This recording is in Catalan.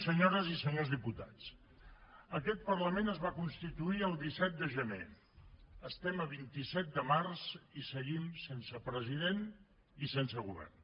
senyores i senyors diputats aquest parlament es va constituir el disset de gener estem a vint vuit de març i seguim sense president i sense govern